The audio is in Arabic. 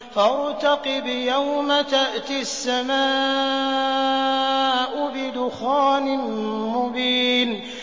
فَارْتَقِبْ يَوْمَ تَأْتِي السَّمَاءُ بِدُخَانٍ مُّبِينٍ